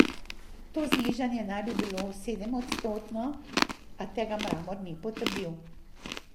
To znižanje naj bi bilo sedemodstotno, a tega Mramor ni potrdil.